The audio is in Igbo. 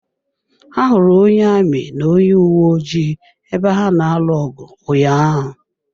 Ahụrụ onye amị na onye uwe ojii ebe ha na-alụ ọgụ ụnyaahụ.